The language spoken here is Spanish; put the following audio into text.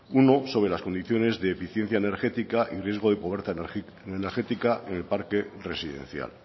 uno de deficiencia energética y riesgo de pobreza energética en el parque residencial